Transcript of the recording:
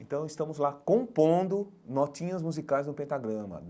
Então estamos lá compondo notinhas musicais no pentagrama.